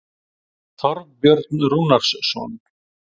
Þorbjörn Rúnarsson.